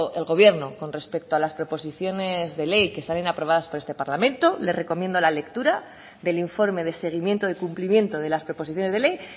el gobierno con respecto a las proposiciones de ley que salen aprobadas por este parlamento le recomiendo la lectura del informe de seguimiento de cumplimiento de las proposiciones de ley